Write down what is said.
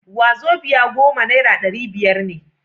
wazobia goma naira dari biyar ne